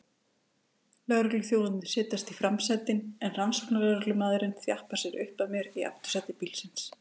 Lögregluþjónarnir setjast í framsætin en rannsóknarlögreglumaðurinn þjappar sér upp að mér í aftursæti bílsins.